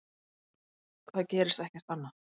Það gerist ekkert annað.